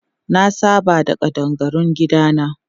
Na saba da ƙadangarun gidana.